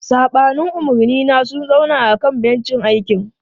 Saɓanin umarnina, sun zauna a kan bencin aiki.